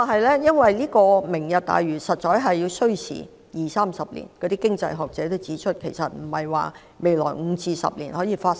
然而，實現"明日大嶼願景"需時二三十年，亦有經濟學者指出，這並非未來5至10年可以完成的。